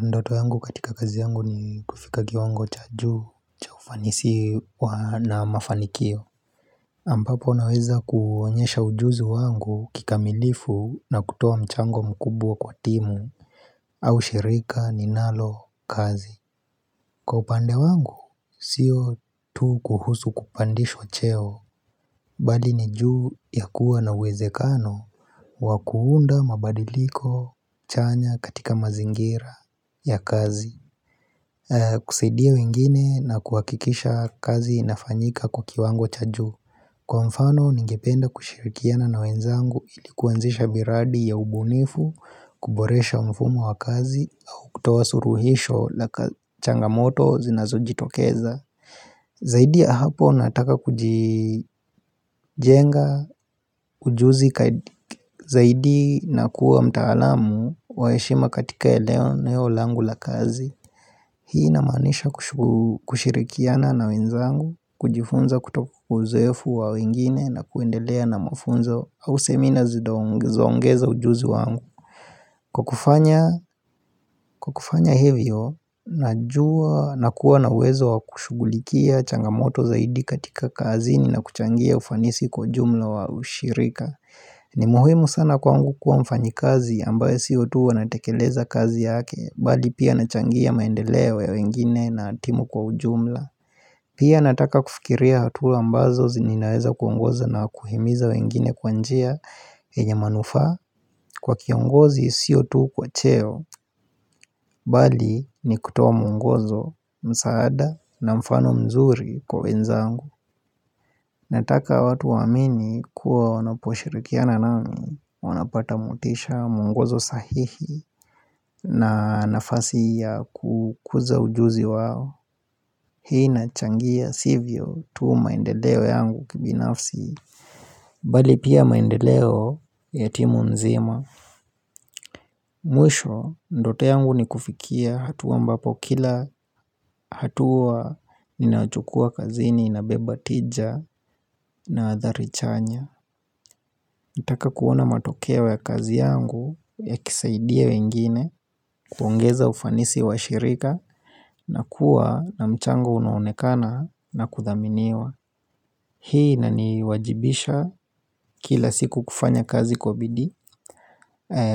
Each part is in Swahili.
Ndoto yangu katika kazi yangu ni kufika kiwango cha juu cha ufanisi wa, na mafanikio ambapo naweza kuonyesha ujuzu wangu kikamilifu na kutoa mchango mkubwa kwa timu au shirika ninalo kazi. Kwa upande wangu sio tu kuhusu kupandishwa cheo Bali ni ju ya kuwa na uwezekano wa kuunda mabadiliko chanya katika mazingira ya kazi kusaidia wengine na kuhakikisha kazi inafanyika kwa kiwango cha juu. Kwa mfano ningependa kushirikiana na wenzangu ili kuanzisha miradi ya ubunifu, kuboresha mfumo wa kazi, au kutoa suluhisho la changamoto zinazojitokeza Zaidi ya hapo nataka kujijenga ujuzi zaidi na kuwa mtaalamu wa heshima katika eneo langu la kazi Hii inamaanisha kushirikiana na wenzangu, kujifunza kutoka kwa uzoefu wa wengine na kuendelea na mafunzo au semina zinaongeza ongeza ujuzi wangu. Kwa kufanya, kwa kufanya hivyo, nakuwa na uwezo wa kushugulikia changamoto zaidi katika kazini na kuchangia ufanisi kwa ujumla wa ushirika. Ni muhimu sana kwangu kuwa mfanyikazi ambaye sio tu anatekeleza kazi yake bali pia anachangia maendeleo ya wengine na timu kwa ujumla Pia nataka kufikiria hatua ambazo ninaweza kuongoza na kuhimiza wengine kwa njia yenye manufaa kwa kiongozi sio tu kwa cheo bali ni kutoa mwongozo, msaada na mfano mzuri kwa wenzangu Nataka watu waamini kuwa wanaposhirikiana nami, wanapata motisha mwongozo sahihi na nafasi ya kukuza ujuzi wao Hii inachangia sivyo tu maendeleo yangu kibinafsi bali pia maendeleo ya timu nzima Mwisho ndoto yangu ni kufikia hatuwa ambapo kila hatuwa ninachukua kazini inabeba tija na athari chanya. Nataka kuona matokeo ya kazi yangu, yakisaidia wengine, kuongeza ufanisi wa shirika, na kuwa na mchango unaonekana na kuthaminiwa. Hii inaniwajibisha kila siku kufanya kazi kwa bidii,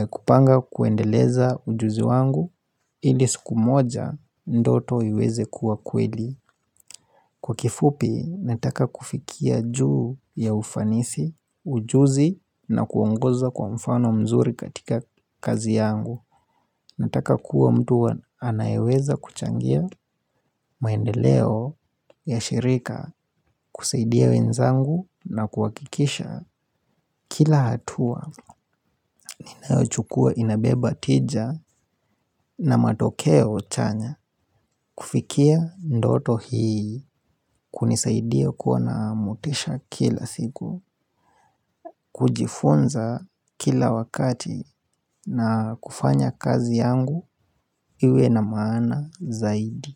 kupanga kuendeleza ujuzi wangu, ili siku moja ndoto iweze kuwa kweli. Kwa kifupi, nataka kufikia juu ya ufanisi, ujuzi na kuongoza kwa mfano mzuri katika kazi yangu. Nataka kuwa mtu anayeweza kuchangia maendeleo ya shirika, kusaidia wenzangu na kuhakikisha kila hatua ni ninayochukua inabeba tija na matokeo chanya kufikia ndoto hii kunisaidia kuwa na motisha kila siku kujifunza kila wakati na kufanya kazi yangu iwe na maana zaidi.